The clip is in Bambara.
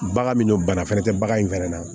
Bagan min don bana fɛnɛ tɛ bagan in fɛnɛ na